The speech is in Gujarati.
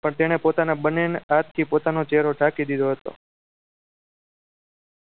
પણ તેણે પોતાના બંને હાથ થી પોતાનો ચહેરો ઢાંકી દીધો હતો